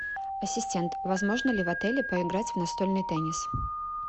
ассистент возможно ли в отеле поиграть в настольный теннис